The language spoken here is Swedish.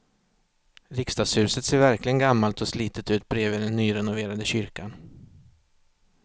Riksdagshuset ser verkligen gammalt och slitet ut bredvid den nyrenoverade kyrkan.